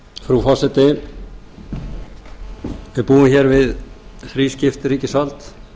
frú forseti við búum við þrískipt ríkisvald